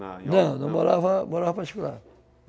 Não, não morava, morava particular.